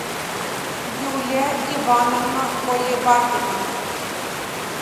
юлия ивановна колебакина